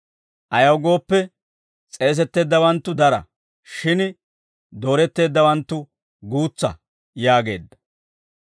«Ayaw gooppe, s'eesetteeddawanttu dara; shin dooretteeddawanttu guutsa» yaageedda.